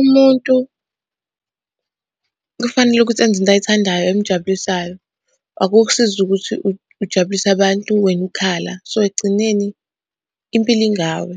Umuntu kufanele ukuthi enze into ayithandayo emujabulisayo. Akukusizi ukuthi ujabulise abantu wena ukhala. So, ekugcineni impilo ingawe,